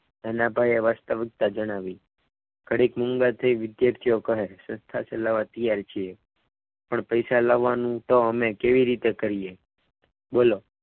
નાના ભાઈએ વાસ્તવિકતા જણાવી ગણિત મોંઘા થઈ વિદ્યાર્થીઓ કહે સંસ્થા ચલાવવા તૈયાર છીએ પણ પૈસા લાવવાનું તો અમે કેવી રીતે કરીએ બોલો.